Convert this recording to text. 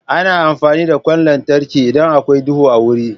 Ana amfani da ƙwan lantarki idan akwai duhu a wuri.